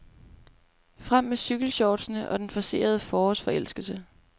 Frem med cykelshortsene og den forcerede forårsforelskelse.